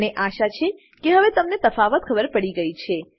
મને આશા છે કે હવે તમને તફાવત ખબર પડી ગયી છે